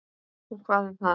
Og hvað um það!